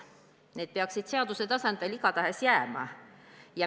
Need peaksid seaduse tasandil igatahes jääma.